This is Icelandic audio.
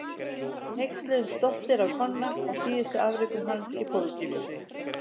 Við hneykslumst stoltir á Konna og síðustu afrekum hans í pólitíkinni.